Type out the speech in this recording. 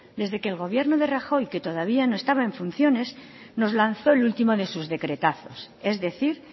desde que el gobierno de rajoy que todavía no estaba en funciones nos lanzó el último de sus decretazos es decir